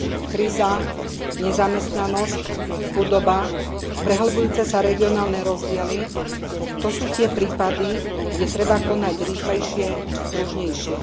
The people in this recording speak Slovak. Kríza, nezamestnanosť, chudoba, prehlbujúce sa regionálne rozdiely, to sú tie prípady, kde treba konať rýchlejšie, pružnejšie.